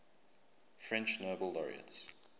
french nobel laureates